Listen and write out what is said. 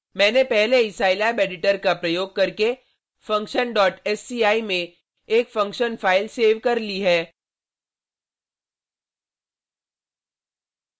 मैंने पहले ही scilab एडिटर का प्रयोग करके functionsci में एक फंक्शन फाइल सेव कर ली है